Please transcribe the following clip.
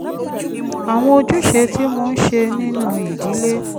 àwọn ojúṣe tí mò ń ṣe nínú ìdílé